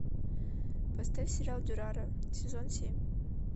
поставь сериал дюрарара сезон семь